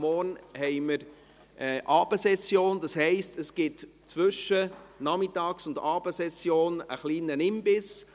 Morgen haben wir Abendsession, das heisst zwischen der Nachmittags- und Abendsession gibt es einen kleinen Imbiss.